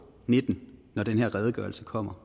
nitten når den her redegørelse kommer